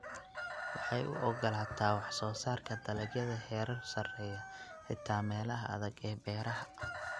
Waxay u ogolaataa wax-soo-saarka dalagyada heerar sarreeya xitaa meelaha adag ee beeraha.